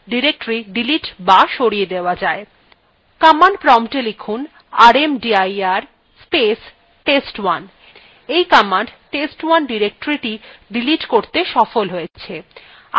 এই command test1 directoryটিকে delete করতে সফল হয়েছে